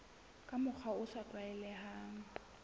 ka mokgwa o sa tlwaelehang